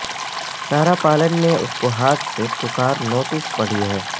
Sara Palin نے اس کے ہاتھ سے پکار نوٹسز پڑھی ہیں